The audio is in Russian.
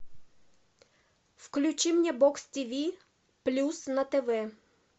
включи мне бокс тв плюс на тв